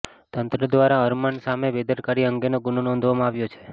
તંત્ર દ્વારા અરમાન સામે બેદરકારી અંગેનો ગુનો નોંધવામાં આવ્યો છે